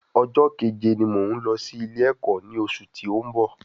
Ọjọ́ kẹ̀jẹ ni mò ún lọ sí ilé ẹ̀kọ́ ní ọsù tí òún bọ̀